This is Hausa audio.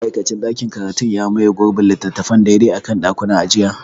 Ma'aikacin ɗakin karatu ya maye gurbin littattafan daidai a kan ɗakunan ajiya.